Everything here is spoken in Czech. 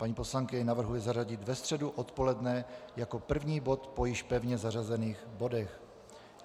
Paní poslankyně navrhuje zařadit ve středu odpoledne jako první bod po již pevně zařazených bodech.